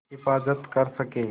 हिफ़ाज़त कर सकें